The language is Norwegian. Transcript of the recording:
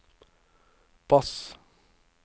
bass